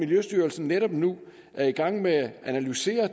miljøstyrelsen netop nu er i gang med at analysere